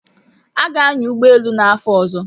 Aga-anya ụgbọ elu n'afọ ọzọ.